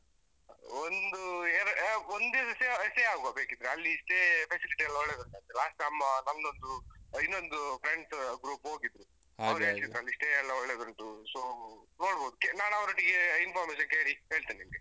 ಒಂದು ಎರಡು ಅಹ್ ಒಂದ್ದಿವ್ಸ stay stay ಆಗುವ ಬೇಕಿದ್ರೆ ಅಲ್ಲಿ stay facility ಯೆಲ್ಲಾ ಒಳ್ಳೇದುಂಟಂತೆ last ನಮ್ಮ ಮಂಗಳೂರ್ದು ಅಹ್ ಇನ್ನೊಂದು friends group ಹೋಗಿದ್ರು, ಅವ್ರು ಹೇಳ್ತಿದ್ರು ಅಲ್ಲಿ stay ಎಲ್ಲಾ ಒಳ್ಳೆದುಂಟು so ನೋಡ್ಬೋದು ನಾನ್ ಅವರೊಟ್ಟಿಗೆ information ಕೇಳಿ ಹೇಳ್ತೇನೆ ನಿಂಗೆ.